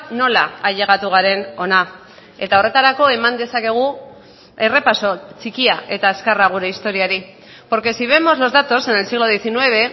nola ailegatu garen hona eta horretarako eman dezakegu errepaso txikia eta azkarra gure historiari porque si vemos los datos en el siglo diecinueve